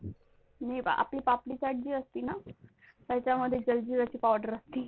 जी आपली पापडी चॅट असते ना, त्याच्यामध्ये जंजिराचा पावडर असते.